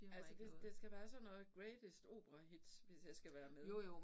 Altså det det skal være sådan noget greatest opera hits hvis jeg skal være med ik